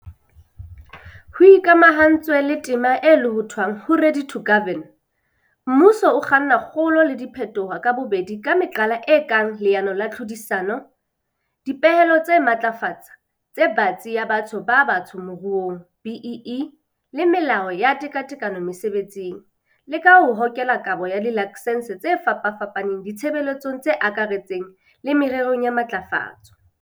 Ho ikamahantswe le tema e lohothwang ho 'Ready to Govern', mmuso o kganna kgolo le diphetoho ka bobedi ka meqala e kang leano la tlhodisano, dipehelo tsa matlafatso e batsi ya batho ba batsho moruong, BEE, le melao ya tekatekano mesebetsing, le ka ho hokela kabo ya dilaksense tse fapafapaneng ditshebeletsong tse akaretsang le mererong ya matlafatso.